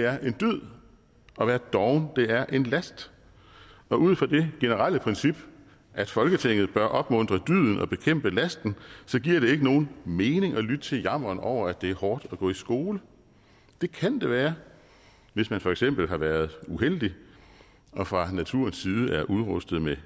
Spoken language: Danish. er en dyd og at være doven er en last og ud fra det generelle princip at folketinget bør opmuntre dyden og bekæmpe lasten giver det ikke nogen mening at lytte til jammeren over at det er hårdt at gå i skole det kan det være hvis man for eksempel har været uheldig og fra naturens side er udrustet med